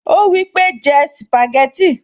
Ó wípé, jẹ́ sìpàgẹ́tì